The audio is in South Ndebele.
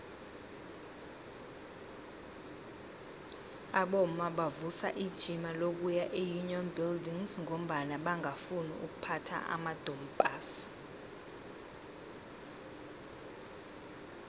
abomma bavusa ijima lokuya eunion buildings ngombana bangafuni ukuphatha amadompass